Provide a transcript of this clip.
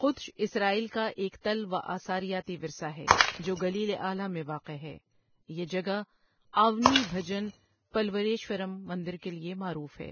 Kedesh Israel کا ایک تل و آثاریاتی ورثہ ہے جو گلیل اعلٰی میں واقع ہے یہ جگہ آونی بھجن پلویشورم مندر کے لیے معروف ہے۔